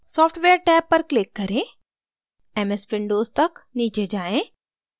software tab पर click करें ms windows तक नीचे जाएँ